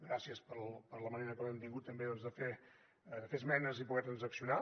gràcies per la manera com hem tingut també doncs de fer esmenes i poder transaccionar